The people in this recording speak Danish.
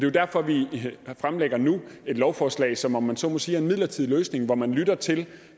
jo derfor at vi nu fremlægger et lovforslag som om man så må sige er en midlertidig løsning hvor man lytter til